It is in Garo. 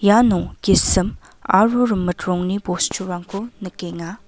iano gisim aro rimit rongni bosturangko nikenga.